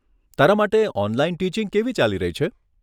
તારા માટે online teaching કેવી ચાલી રહી છે?